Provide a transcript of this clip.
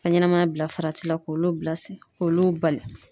Ka ɲɛnɛmaya bila farati la k'olu bila sen k'olu bali.